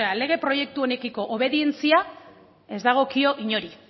lege proiektu honekiko obedientzia ez dagokio inori